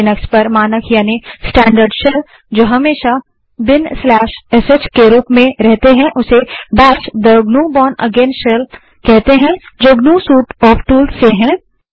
Linux पर मानक यानि स्टैन्डर्ड शेल जो हमेशा binsh के रूप में रहते हैं उसे बैश कहते हैं जो ग्नू सूट ऑफ टूल्स से है